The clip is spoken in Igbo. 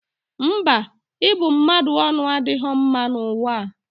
Mba, ịbụ mmadụ ọnụ adịghọ mma n'ụwa a.